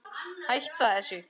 Hætta þessu!